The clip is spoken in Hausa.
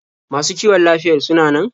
Masu kiwon lafiyar suna nan?